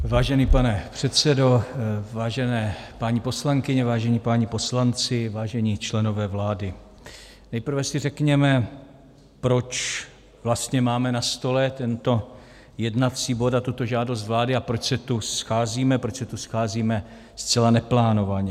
Vážený pane předsedo, vážené paní poslankyně, vážení páni poslanci, vážení členové vlády, nejprve si řekněme, proč vlastně máme na stole tento jednací bod a tuto žádost vlády a proč se tu scházíme, proč se tu scházíme zcela neplánovaně.